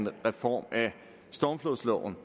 med reformen af stormflodsloven